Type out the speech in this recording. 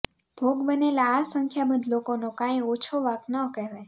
ભોગ બનેલા આ સંખ્યાબંધ લોકોનો કાંઈ ઓછો વાંક ન કહેવાય